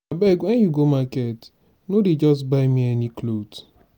abeg when you go market no dey just buy me any cloth.